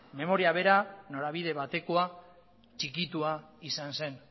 memoria bera norabide batekoa txikitua izan zen